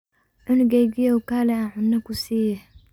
Cunugeykiyow kale aan cuna kusiyex.